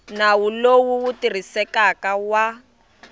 nawu lowu wu tirhisekaku wa